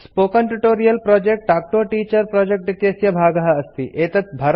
spoken tutorial project talk to a teacher project इत्यस्य भागः अस्ति